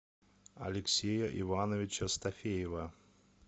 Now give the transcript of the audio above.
алексея ивановича стафеева